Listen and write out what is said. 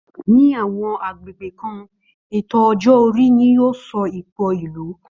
Ní àwọn agbègbè kan, ètò ọjọ́ orí ni yóò sọ ipò ìlú